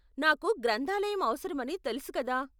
నాకు గ్రంధాలయం అవసరమని తెలుసు కదా.